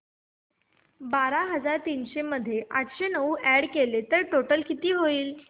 बारा हजार तीनशे मध्ये आठशे नऊ अॅड केले तर टोटल किती होईल